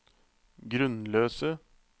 grunnløse